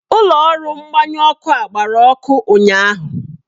Ụlọ ọrụ mgbanyụ ọkụ a gbara ọkụ ụnyaahụ.